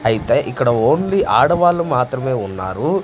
అయితే ఇక్కడ ఓన్లీ ఆడవాళ్లు మాత్రమే ఉన్నారు.